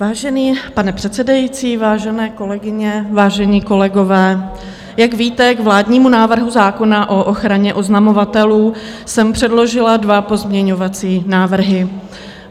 Vážený pane předsedající, vážené kolegyně, vážení kolegové, jak víte, k vládnímu návrhu zákona o ochraně oznamovatelů jsem předložila dva pozměňovací návrhy.